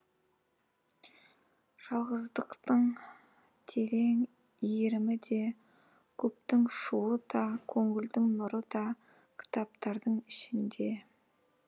жалғыздықтың терең иірімі де көптің шуы да көңілдің нұры да кітаптардың ішінде